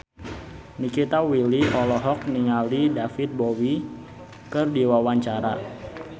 Nikita Willy olohok ningali David Bowie keur diwawancara